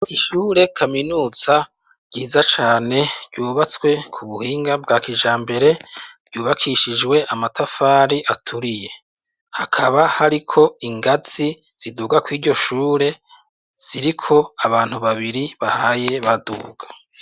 Ishure kaminuza ryiza cane ryubatswe kubuhinga bwa kijambere , ryubakishijwe amatafari aturiye, hakaba hariko ingazi ziduga kw'iryo shure ziriko abantu babiri bahaye baduga.